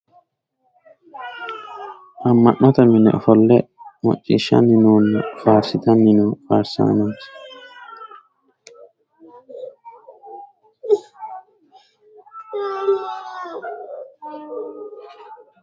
Ama'note mine ofolle maciishanni noona faarsitanni noo faarsaanooti.